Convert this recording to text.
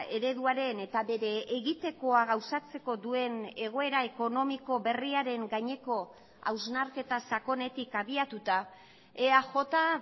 ereduaren eta bere egitekoa gauzatzeko duen egoera ekonomiko berriaren gaineko hausnarketa sakonetik abiatuta eaj